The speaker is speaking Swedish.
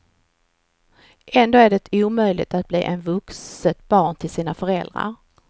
Ändå är det omöjligt att bli ett vuxet barn till sina föräldrar.